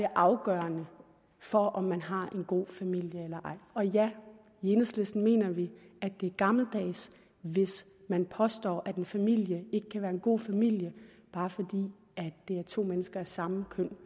afgørende for om man har en god familie eller ej og ja i enhedslisten mener vi at det er gammeldags hvis man påstår at en familie ikke kan være en god familie bare fordi det er to mennesker af samme køn